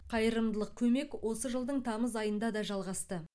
қайырымдылық көмек осы жылдың тамыз айында да жалғасты